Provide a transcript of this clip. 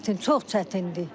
Çətin, çox çətindir.